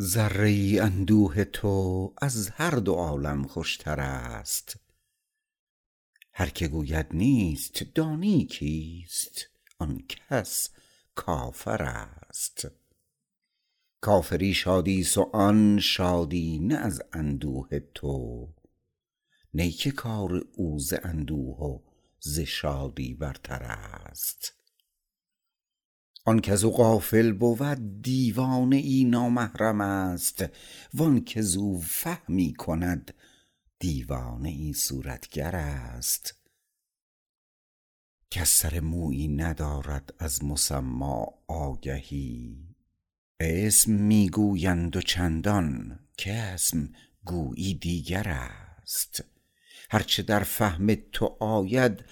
ذره ای اندوه تو از هر دو عالم خوشتر است هر که گوید نیست دانی کیست آن کس کافر است کافری شادی است و آن شادی نه از اندوه تو نی که کار او ز اندوه و ز شادی برتر است آن کزو غافل بود دیوانه ای نامحرم است وانکه زو فهمی کند دیوانه ای صورتگر است کس سر مویی ندارد از مسما آگهی اسم می گویند و چندان کاسم گویی دیگر است هرچه در فهم تو آید